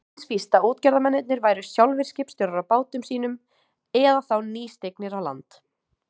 Eins víst að útgerðarmennirnir væru sjálfir skipstjórar á bátum sínum eða þá nýstignir á land.